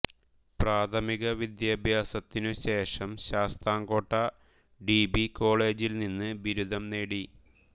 പ്രാഥമിക വിദ്യാഭ്യാസത്തിനു ശേഷം ശാസ്താംകോട്ട ഡി ബി കോളേജിൽ നിന്ന് ബിരുദം നേടി